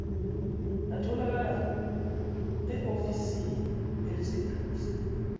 atholakala eofisini eliseduze